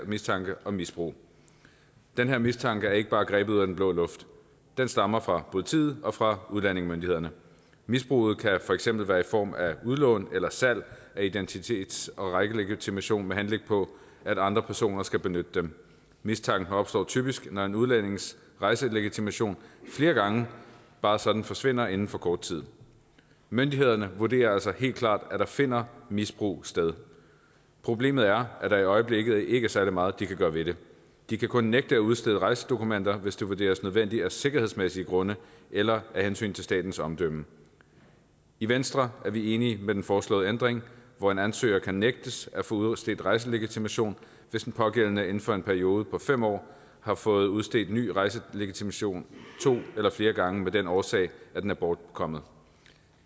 mistanke om misbrug den her mistanke er ikke bare grebet ud af den blå luft den stammer fra politiet og fra udlændingemyndighederne misbruget kan for eksempel være i form af udlån eller salg af identitets og rejselegitimation med henblik på at andre personer skal benytte dem mistanken opstår typisk når en udlændings rejselegitimation flere gange bare sådan forsvinder inden for kort tid myndighederne vurderer altså helt klart at der finder misbrug sted problemet er at der i øjeblikket ikke er særlig meget de kan gøre ved det de kan kun nægte at udstede rejsedokumenter hvis det vurderes nødvendigt af sikkerhedsmæssige grunde eller af hensyn til statens omdømme i venstre er vi enige i den foreslåede ændring hvor en ansøger kan nægtes at få udstedt rejselegitimation hvis den pågældende inden for en periode på fem år har fået udstedt ny rejselegitimation to eller flere gange af den årsag at den er bortkommet